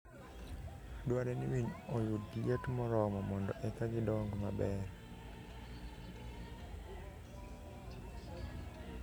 Dwarore ni winy oyud liet moromo mondo eka gidong maber.